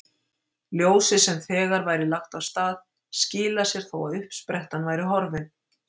Ljósið sem þegar væri lagt af stað skilar sér þó að uppsprettan væri horfin.